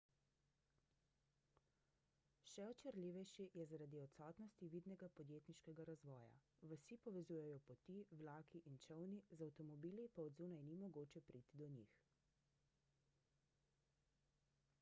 še očarljivejši je zaradi odsotnosti vidnega podjetniškega razvoja vasi povezujejo poti vlaki in čolni z avtomobili pa od zunaj ni mogoče priti do njih